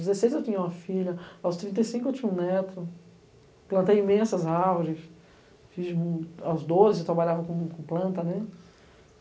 Aos dezesseis eu tinha uma filha, aos trinta e cinco eu tinha um neto, plantei imensas árvores, fiz, aos doze eu trabalhava com com planta, né?